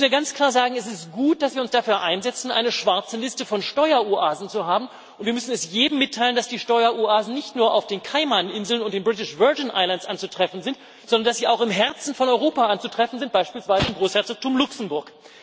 Das müssen wir ganz klar sagen Es ist gut, dass wir uns dafür einsetzen, eine schwarze Liste von Steueroasen zu haben, und wir müssen jedem mitteilen, dass die Steueroasen nicht nur auf den Kaimaninseln und den British Virgin Islands anzutreffen sind, sondern dass sie auch im Herzen von Europa anzutreffen sind, beispielsweise im Großherzogtum Luxemburg.